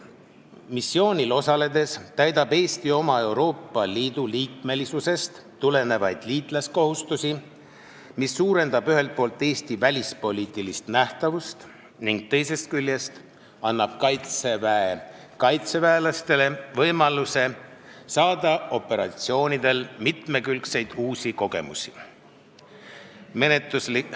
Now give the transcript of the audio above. Missioonil osaledes täidab Eesti oma Euroopa Liidu liikmesusest tulenevaid liitlaskohustusi, mis suurendab ühelt poolt Eesti välispoliitilist nähtavust ning teisest küljest annab kaitseväelastele võimaluse saada operatsioonidel mitmekülgseid uusi kogemusi.